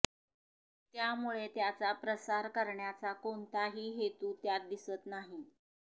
त्यामुळे त्याचा प्रसार करण्याचा कोणताही हेतू त्यात दिसत नाही